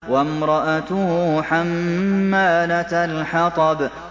وَامْرَأَتُهُ حَمَّالَةَ الْحَطَبِ